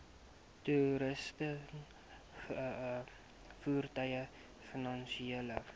toerusting voertuie finansiële